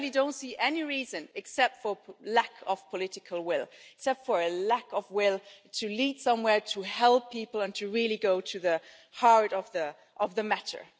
I really don't see any reason, except for lack of political will and a lack of will to lead somewhere, to help people and to really go to the heart of the matter.